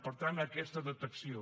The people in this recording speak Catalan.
per tant aquesta detecció